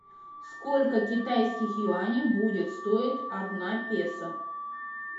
сколько китайских юаней будет стоить одна песо